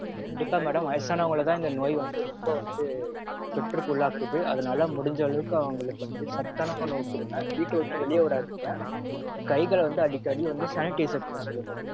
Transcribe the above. கண்டிப்பா madam வயசானவங்களதா இந்த நோய் வந்து ரொம்ப வந்து தொற்றுக்கு உள்ளாக்குது. அதனால முடிஞ்ச அளவுக்கு அவங்களுக்கு வந்து சத்தான உணவு கொடுங்க. வீட்ட விட்டு வெளிய விடாதீங்க. கைகள வந்து அடிக்கடி sanitizer பண்ண சொல்லுங்க.